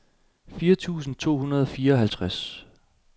fire tusind to hundrede og fireoghalvtreds